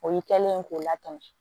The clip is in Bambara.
O y'i kɛlen ye k'o latɛmɛ